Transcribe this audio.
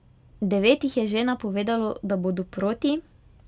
Devet jih je že napovedalo, da bodo proti.